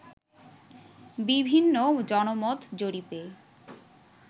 বিভিন্ন জনমত জরিপে